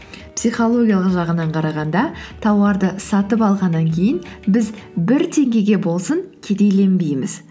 психологиялық жағынан қарағанда тауарды сатып алғаннан кейін біз бір теңгеге болсын кедейленбейміз